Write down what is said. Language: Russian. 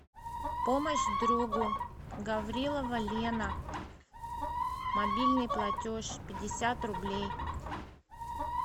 помощь другу гаврилова лена мобильный платеж пятьдесят рублей